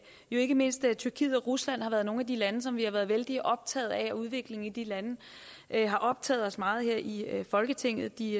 ikke mindst tyrkiet og rusland har været nogle af de lande som vi har været vældig optaget af og udviklingen i de lande har optaget os meget her i folketinget de